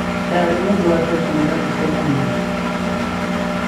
Ndari mundu wa mbere kumwira tucemania